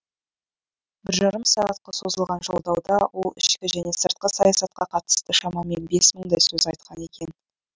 бір жарым сағатқа созылған жолдауда ол ішкі және сыртқы саясатқа қатысты шамамен бес мыңдай сөз айтқан екен